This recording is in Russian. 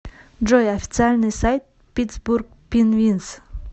джой официальный сайт питтсбург пинвинз